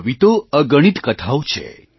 આવી તો અગણિત કથાઓ છે